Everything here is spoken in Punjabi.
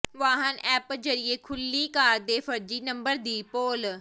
ਵਾਹਨ ਐਪ ਜ਼ਰੀਏ ਖੁੱਲ੍ਹੀ ਕਾਰ ਦੇ ਫਰਜ਼ੀ ਨੰਬਰ ਦੀ ਪੋਲ